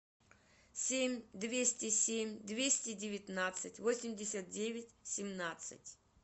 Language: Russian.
семь двести семь двести девятнадцать восемьдесят девять семнадцать